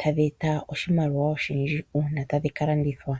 tadhi eta oshimaliwa oshindji uuna tadhi ka landithwa